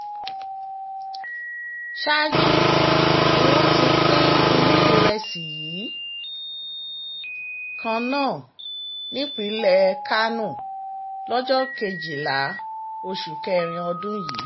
ṣáájú ni wọ́n ti pín irú ìrẹsì yìí kan náà nípínlẹ̀ kánò lọ́jọ́ kejìlá oṣù kẹrin ọdún yìí